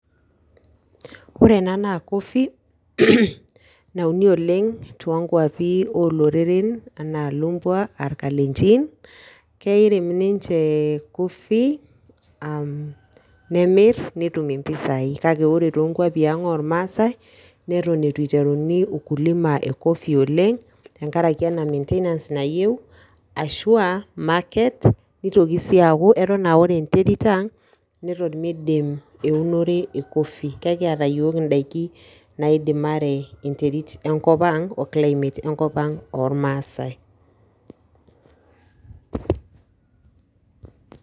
Ore enaa naa coffee naiuni oleng toonkuapi ooloreren ,enaa ilubwa irkalenjin neeirem ninche coffee am nemir netum impisai kake ore toonkuapi aang ormasai neton eitu eiteruni ululima oleng ashua market ashua ore enterit ang neton meidim eunore e coffee ekiata iyiok indaiki naidimare enterit enkop o climate oormasai.